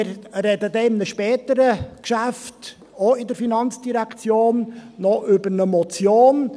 Wir sprechen dann bei einem späteren Geschäft, auch in der FIN, noch über eine Motion.